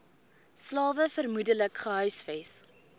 slawe vermoedelik gehuisves